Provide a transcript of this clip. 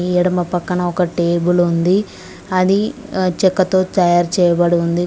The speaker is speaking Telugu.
ఈ ఎడమ పక్కన ఒకటి టేబుల్ ఉంది అది చెక్కతో తయారు చేయబడింది.